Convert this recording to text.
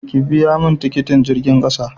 ki biya mun kudin tikitin jirgin ƙasa!